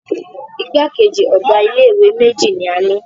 Igbákejì ọ̀ga ilé ìwé méjì ní a ni.